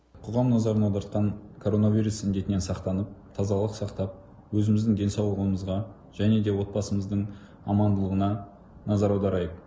қоғам назарын аудартқан коронавирус індетінен сақтанып тазалық сақтап өзіміздің денсаулығымызға және де отбасымыздың амандылығына назар аударайық